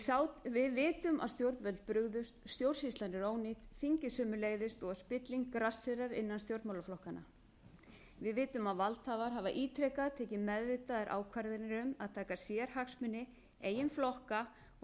borðinu við vitum að stjórnvöld brugðust stjórnsýslan er ónýt þingið sömuleiðis og að spilling grasserar innan stjórnmálaflokkanna við vitum að valdhafar hafa ítrekað tekið meðvitaðar ákvarðanir um að taka sérhagsmuni eigin flokka og